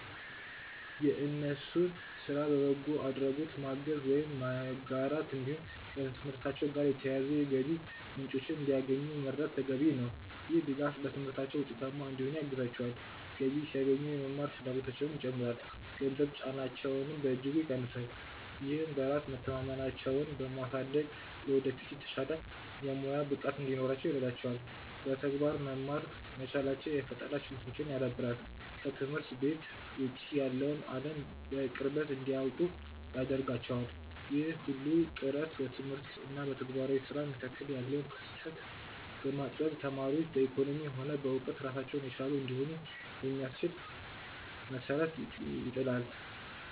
የእነሱን ስራ በበጎ አድራጎት ማገዝ ወይም መጋራት፣ እንዲሁም ከትምህርታቸው ጋር የተያያዙ የገቢ ምንጮችን እንዲያገኙ መርዳት ተገቢ ነው። ይህ ድጋፍ በትምህርታቸው ውጤታማ እንዲሆኑ ያግዛቸዋል፤ ገቢ ሲያገኙ የመማር ፍላጎታቸውም ይጨምራል፣ የገንዘብ ጫናቸውንም በእጅጉ ይቀንሳል። ይህም በራስ መተማመናቸውን በማሳደግ ለወደፊት የተሻለ የሙያ ብቃት እንዲኖራቸው ይረዳቸዋል። በተግባር መማር መቻላቸው የፈጠራ ችሎታቸውን ያዳብራል፤ ከትምህርት ቤት ውጭ ያለውን አለም በቅርበት እንዲያውቁ ያደርጋቸዋል። ይህ ሁሉ ጥረት በትምህርት እና በተግባራዊ ስራ መካከል ያለውን ክፍተት በማጥበብ ተማሪዎች በኢኮኖሚም ሆነ በእውቀት ራሳቸውን የቻሉ እንዲሆኑ የሚያስችል መሰረት ይጥላል።